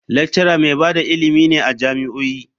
Lecturer mai ba da ilimi ne a jami'o'i.